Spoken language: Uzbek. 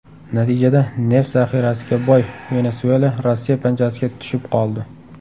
Natijada neft zaxirasiga boy Venesuela Rossiya panjasiga tushib qoldi.